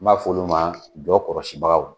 N'a f'olu ma jɔ kɔlɔsibagaw